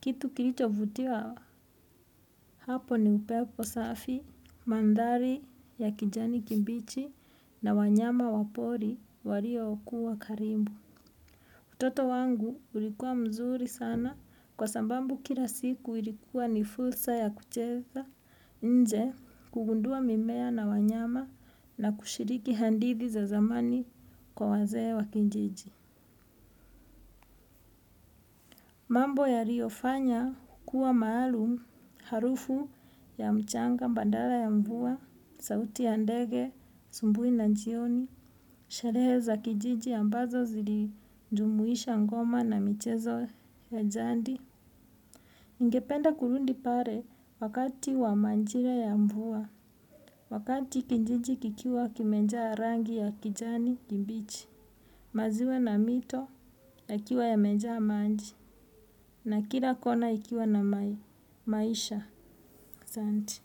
Kitu kilicho vutia hapo ni upepo safi, mandhari ya kijani kimbichi na wanyama wapori waliokua karimbu. Toto wangu, ulikua mzuri sana, kwa sambambu kila siku, ilikua ni fursa ya kucheza nje. Kugundua mimea na wanyama na kushiriki handithi za zamani, kwa wazee wa kijiji. Mambo yario fanya, kua maalum, harufu ya mchanga, bandara ya mvua, sauti ya ndege, sumbui na njioni, sherehe za kijiji ambazo zilijumuisha ngoma na michezo ya jandi. Ngependa kurundi pare wakati wa manjira ya mvua. Wakati kinjiji kikiwa kimenjaa rangi ya kijani kibichi. Maziwa na mito yakiwa yamejaa manji. Na kila kona ikiwa na maisha. Asanti.